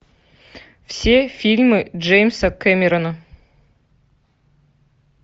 все фильмы джеймса кэмерона